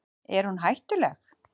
Er hún hættuleg?